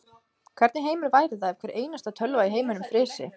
Hvernig heimur væri það ef hvar einasta tölva í heiminum frysi.